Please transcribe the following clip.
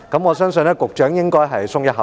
我相信局長應該鬆了一口氣。